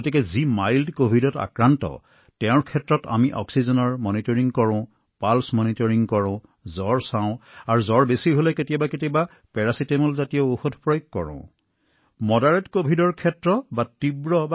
সেয়েহে পাতল কভিডৰ বাবে আমি অক্সিজেন নিৰীক্ষণ কৰো নাড়ী নিৰীক্ষণ কৰো জ্বৰ নিৰীক্ষণ কৰো কেতিয়াবা পেৰাচিটামলৰ দৰে ঔষধ ব্যৱহাৰ কৰো আৰু নিজৰ চিকিৎসকৰ সৈতে যোগাযোগ কৰো